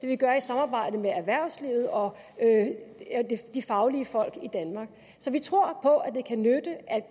vi gøre i samarbejde med erhvervslivet og de faglige folk i danmark så vi tror på at det kan nytte at